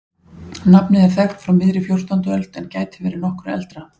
nafnið er þekkt frá miðri fjórtándu öld en gæti verið nokkru eldra